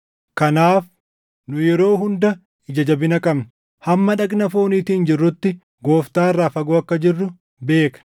Kanaaf nu yeroo hunda ija jabina qabna; hamma dhagna fooniitiin jirrutti Gooftaa irraa fagoo akka jirru beekna.